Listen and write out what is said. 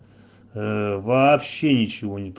вообще ничего не